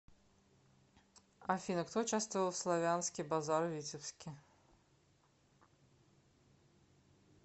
афина кто участвовал в славянский базар в витебске